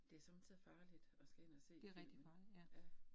Det somme tider farligt, at skal ind og se filmen, ja